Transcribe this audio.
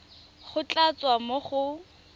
go tla tswa mo go